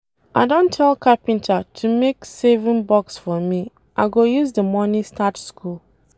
I don tell carpenter to make saving box for me, I go use the money start school